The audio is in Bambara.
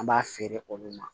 An b'a feere olu ma